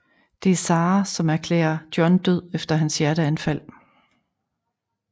Det er Sara som erklære John død efter hans hjerteanfald